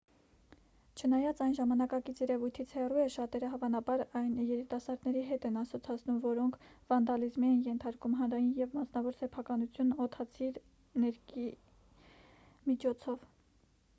չնայած այն ժամանակակից երևույթից հեռու է շատերը հավանաբար այն երիտասարդների հետ են ասոցացնում որոնք վանդալիզմի են ենթարկում հանրային և մասնավոր սեփականությունն օդացիր ներկի միջոցով